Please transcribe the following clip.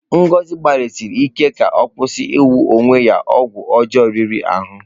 Ngozi gbalịsiri ike ka ọ kwụsị iwu onye ọgwụ ọjọọ riri ahụ.